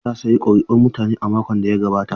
Matar ta sayi kuri'un mutane a makon da ya gabata.